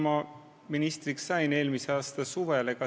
Ma sain ministriks eelmise aasta suvel.